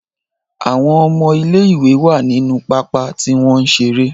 Àwọn ọmọ ilé ìwé wá nínú pápá tí wọ́n ń ṣeré.